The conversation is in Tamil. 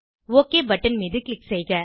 ஒக் பட்டன் மீது க்ளிக் செய்க